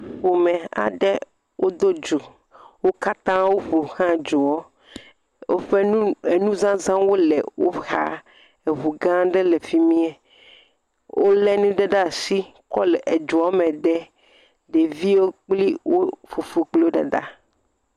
Ƒome aɖe wodo dzo, wokata woƒfo xla dzoa. Woƒfe nu nuzazawo le woxa, eʋu ga aɖe le fimie. Wole nu aɖe ɖe asi kɔ le edzoame dem, ɖeviwo kple wo fofo kple wo dada.